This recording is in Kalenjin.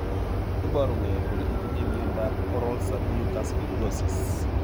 Iporu ne kole itinye miondap Oral submucous fibrosis?